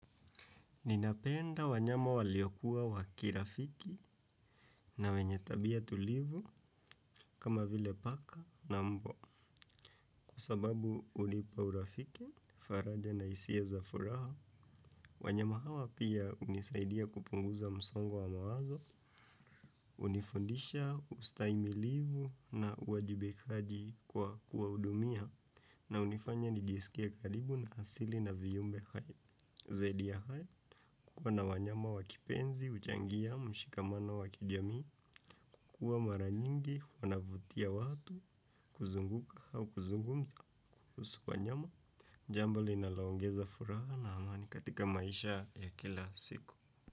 Ninapenda wanyama waliokuwa wakirafiki na wenye tabia tulivu kama vile paka na mbwa. Sababu hunipa urafiki faraja na hisia za furaha wanyama hawa pia hunisaidia kupunguza msongo wa mawazo hunifundisha ustahimilivu na uwajibikaji kwa kuwahudumia na hunifanya nijisikie karibu na asili na viumbe hai. Zaidi ya hayo kuwa na wanyama wakipenzi, huchangia, mshikamano wakijamii, kuwa mara nyingi, wanavutia watu, kuzunguka au kuzungumza, kuhusu wanyama, jambo linaloongeza furaha na amani katika maisha ya kila siku.